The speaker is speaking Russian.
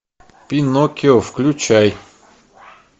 пиноккио включай